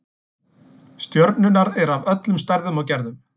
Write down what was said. Stjörnurnar eru af öllum stærðum og gerðum.